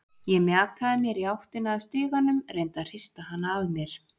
Ég mjakaði mér í áttina að stiganum, reyndi að hrista hana af mér.